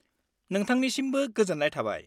-नोंथांनिसिमबो गोजोन्नाय थाबाय।